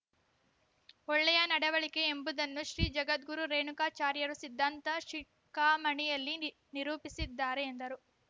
ಒಳ್ಳೆಯ ನಡವಳಿಕೆ ಎಂಬುದನ್ನು ಶ್ರೀ ಜಗದ್ಗುರು ರೇಣುಕಾಚಾರ್ಯರು ಸಿದ್ಧಾಂತ ಶಿಖಾಮಣಿಯಲ್ಲಿ ನಿ ನಿರೂಪಿಸಿದ್ದಾರೆ ಎಂದರು